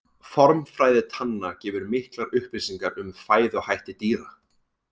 Formfræði tanna gefur miklar upplýsingar um fæðuhætti dýra.